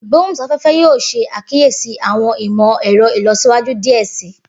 Igbohunsafẹfẹ yoo ṣe akiyesi awọn imọ-ẹrọ ilọsiwaju diẹ sii.